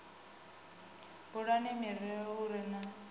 bulani murero u re na